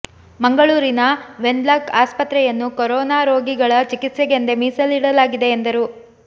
ಮಂಗಳೂರಿನ Wenlock ಆಸ್ಪತ್ರೆಯನ್ನು corona ರೋಗಿಗಳ ಚಿಕಿತ್ಸೆಗೆಂದೇ ಮೀಸಲಿಡಲಾಗಿದೆ ಎಂದರು